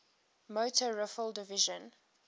motor rifle division